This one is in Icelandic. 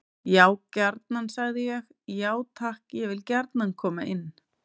Já gjarnan, sagði ég: Já takk, ég vil gjarnan koma inn.